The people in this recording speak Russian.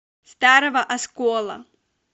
старого оскола